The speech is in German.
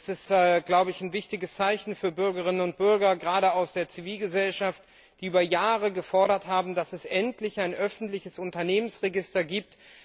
Er ist ein wichtiges Zeichen für die Bürgerinnen und Bürger, gerade aus der Zivilgesellschaft, die über Jahre gefordert haben, dass es endlich ein öffentliches Unternehmensregister gibt.